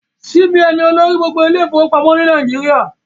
CBN ni olórí gbogbo ilé ìfọwọ́pamọ́ ni Nàìjíríà